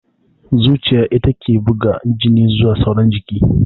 Zuciya ita take buga jini zuwa sauran jiki